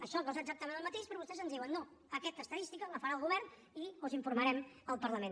això no és exactament el mateix però vostès ens diuen no aquesta estadística la farà el govern i us en informarem al parlament